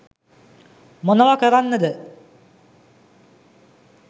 මොනව කරන්නද